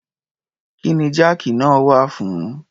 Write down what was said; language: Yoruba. Kí ni jáàkì náà wà fún?